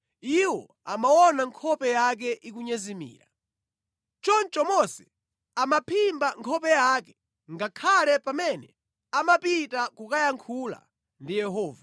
iwo amaona nkhope yake ikunyezimira. Choncho Mose amaphimba nkhope yake ngakhale pamene amapita kukayankhula ndi Yehova.